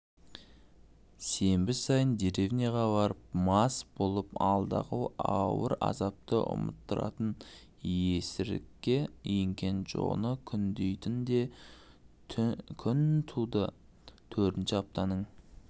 сенбі сайын деревняға барып мас болып алдағы ауыр азапты ұмыттыратын есірікке ерген джоны күндейтін де күн тудытөртінші аптаның